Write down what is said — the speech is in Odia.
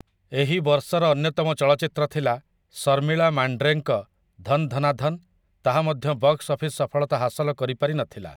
ଏହି ବର୍ଷର ଅନ୍ୟତମ ଚଳଚ୍ଚିତ୍ର ଥିଲା ଶର୍ମିଳା ମାଣ୍ଡ୍ରେଙ୍କ 'ଧନ୍ ଧନା ଧନ୍', ତାହା ମଧ୍ୟ ବକ୍ସ ଅଫିସ ସଫଳତା ହାସଲ କରିପାରି ନଥିଲା ।